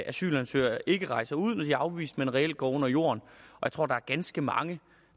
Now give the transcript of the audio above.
asylansøgere ikke rejser ud når de er afvist men reelt går under jorden jeg tror der er ganske mange